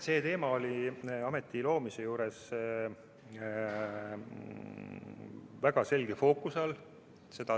See teema oli ameti loomise juures väga selge fookuse all.